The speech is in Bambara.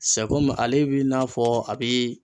Sɛ kɔmi ale bi n'a fɔ a bi